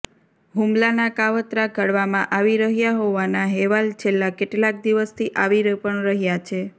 હુમલાના કાવતરા ઘડવામાં આવી રહ્યા હોવાના હેવાલ છેલ્લા કેટલાક દિવસથી આવી પણ રહ્યા છે